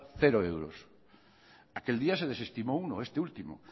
cero euros aquel día se desestimó uno este último